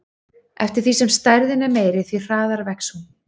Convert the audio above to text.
Eftir því sem stærðin er meiri, því hraðar vex hún.